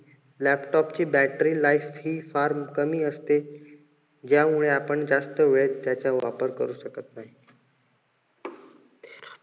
laptop ची battery life हि फार कमी असते. ज्यामुळे आपण जास्त वेळ त्याचा वापर करू शकत नाही.